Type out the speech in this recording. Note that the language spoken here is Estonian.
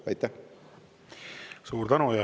Suur tänu!